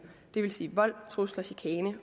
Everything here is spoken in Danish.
det vil sige vold trusler chikane